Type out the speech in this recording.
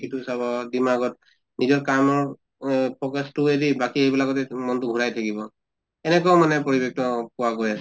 সিটো চাব দিমাগত নিজৰ কামৰ অহ focus তো এৰি এইবিলাকত মনটো ঘুৰি থাকিব। এনেকুৱা মানে পৰিবেশ্টো অহ পোৱা গৈ আছে